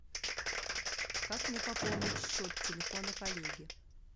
как мне пополнить счет телефона коллеги